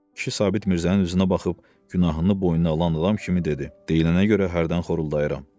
Kişi Sabit Mirzənin üzünə baxıb günahını boynuna alan adam kimi dedi: Deyilənə görə hərdən xoruldayıram.